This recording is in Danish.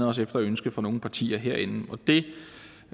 også efter ønske fra nogle partier herinde